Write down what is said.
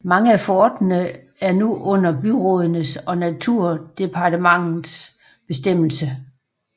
Mange af forterne er nu under byrådenes og naturdepartementets bestemmelse